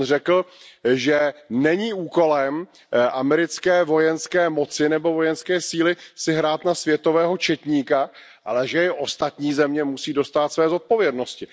On řekl, že není úkolem americké vojenské moci nebo vojenské síly si hrát na světového četníka, ale že i ostatní země musí dostát své zodpovědnosti.